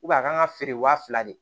a kan ka feere waa fila de